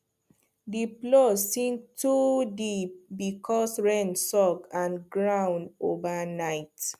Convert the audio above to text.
the plow sink too deep because rain soak and ground overnight